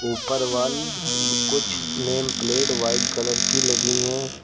ऊपर वॉल कुछ name plate white colour की लगी हैं।